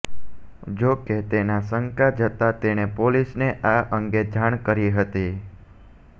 જોકે તેને શંકા જતાં તેણે પોલીસને આ અંગે જાણ કરી હતી